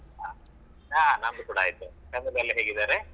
ಹಾ ಹಾ ನಮ್ದು ಕುಡಾ ಆಯ್ತು ಮನೆಯಲ್ಲಿ ಎಲ್ಲ ಹೇಗಿದ್ದಾರೆ?